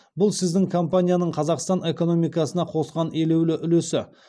бұл сіздің компанияның қазақстан экономикасына қосқан елеулі үлесі